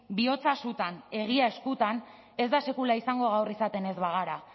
bihotza sutan egia eskutan ez da sekula izango gaur izaten ez bagara